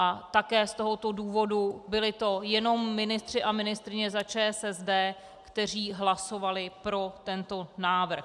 A také z tohoto důvodu to byli jenom ministři a ministryně za ČSSD, kteří hlasovali pro tento návrh.